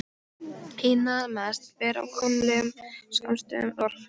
Fyrir það erum við sem eigum þessi fyrirtæki ákaflega þakklátir.